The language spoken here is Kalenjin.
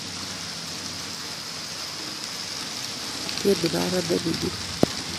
Ityeni baba nemining